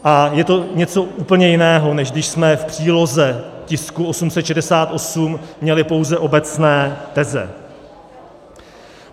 A je to něco úplně jiného, než když jsme v příloze tisku 868 měli pouze obecné teze.